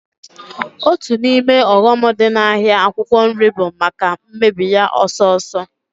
Otu n'ime ọghọm dị n'ahịa akwụkwọ nri bụ maka mmebi ya ọsọọsọ